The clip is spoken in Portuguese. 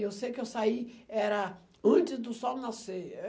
Eu sei que eu saí era antes do sol nascer.